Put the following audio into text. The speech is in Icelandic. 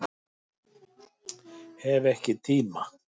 Hef ekki tíma